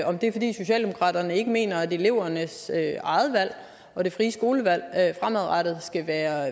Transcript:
om det er fordi socialdemokraterne ikke mener at elevernes eget valg og det frie skolevalg fremadrettet skal være